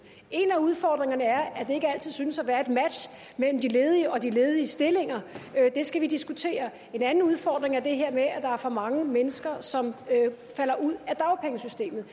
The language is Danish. en af udfordringerne er at der ikke altid synes at være et match mellem de ledige og de ledige stillinger det skal vi diskutere en anden udfordring er det her med at der er for mange mennesker som falder ud af dagpengesystemet